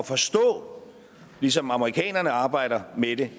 forstå ligesom amerikanerne arbejder med det